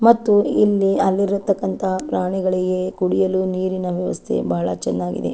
ಮತ್ತು ಇಲ್ಲಿ ಅಲ್ಲಿರತಕ್ಕಂತ ಪ್ರಾಣಿಗಳಿಗೆ ಕುಡಿಯಲು ನೀರಿನ ವ್ಯವಸ್ಥೆ ಬಹಳ ಚೆನ್ನಾಗಿದೆ.